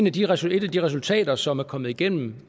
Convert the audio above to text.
af de resultater som er kommet igennem